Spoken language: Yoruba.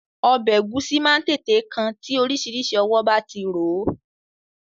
Ọbẹ̀ Ẹ̀gúsí máa ń tètè kan tí oríṣiríṣi ọwọ́ bá ti rò ó